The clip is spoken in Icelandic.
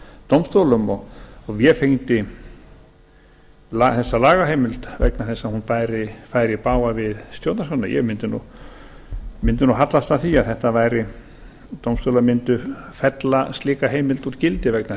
dómstólum og vefengdi þessa lagaheimild vegna þess að hún væri í bága við stjórnarskrána ég mundi hallast að því að dómstólar mundu fella slíka heimild úr gildi vegna